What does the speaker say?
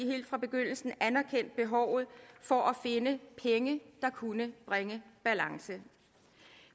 helt fra begyndelsen anerkendt behovet for at finde penge der kunne bringe balance